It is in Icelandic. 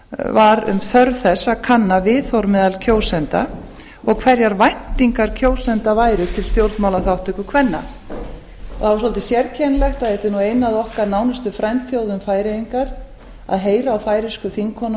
var um þörf þess að kanna viðhorf meðal kjósenda og hverjar væntingar kjósenda væru til stjórnmálaþátttöku kvenna það er svolítið sérkennilegt að þetta er nú ein af okkar nánustu grannþjóðum færeyingar að heyra á færeysku